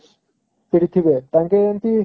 ସେଠି ଥିବେ ତାଙ୍କେ ଏମିତି